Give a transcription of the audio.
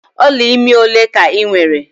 Ọla imi ole ka ị nwere?